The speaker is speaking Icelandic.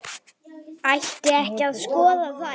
Ætti ekki að skoða þær?